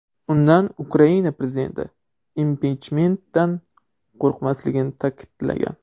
Unda Ukarina prezidenti impichmentdan qo‘rqmasligini ta’kidlagan.